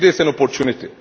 This is an opportunity.